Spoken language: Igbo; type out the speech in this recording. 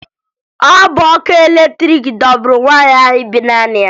Ọ bụ ọkụ latrịịkị dọgburu nwaanyị ahụ bi naanị ya